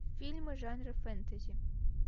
фильмы жанра фэнтези